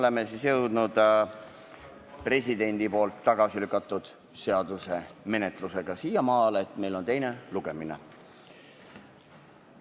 Nüüdseks oleme presidendi tagasilükatud seaduse menetlemisel jõudnud siiamaale, et meil on teine lugemine.